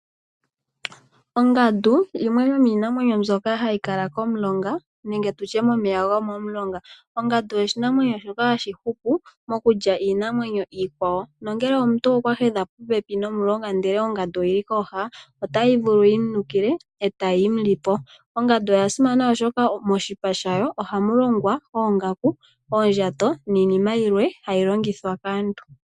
Ongandu oyo yimwe yomiinamweny ombyoka hay kala komulonga nenge tutye momeya gomomulonga. Ongandu oshinamwnyo shoka hashi hupu mokulya iinamwenyo iikwawo, nongele omuntu oka hedha popepi nomulonga ndele ongandu oyili kooha otayi vulu yimu nukile etayi mu lipo. Ongandu oya simana oshoka moshipa shawo ohamu longwa oongaku, oondjato niinima yilwe hayi longithwa kaantu.